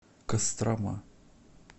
кострома